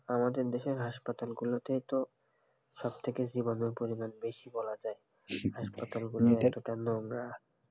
আমাদের দেশের হাসপাতাল গুলোতেই তো সবথেকে জীবাণুর পরিমাণ বেশি বলা যায় হাসপাতাল গুলো কতটা নোংরা,